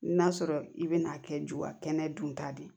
N'a sɔrɔ i bɛna a kɛ juba kɛnɛ dun ta de ye